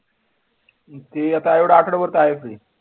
ती आता एवढ्या आठवड्याभर त आहेच free